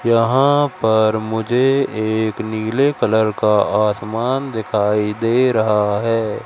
यहां पर मुझे एक नीले कलर का आसमान दिखाई दे रहा है।